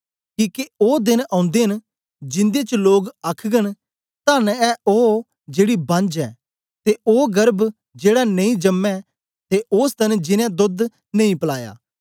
किके ओ देन औंदे न जिन्दे च लोक आखघन तन्न ए ओ जेड़ी बांझ ऐ ते ओ गर्भ जेड़ा नेई जम्मे ते ओ स्तन जिनैं दोध नेई पलाया